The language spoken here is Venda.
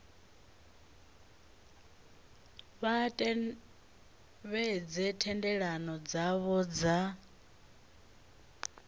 vha tevhedze thendelano dzavho dza